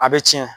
A bɛ tiɲɛ